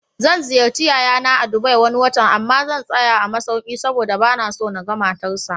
Zan ziyarci yayana a Dubai Wani watan, amma zan tsaya a masauki saboda banaso naga matar sa